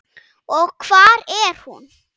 Og hvar er hún?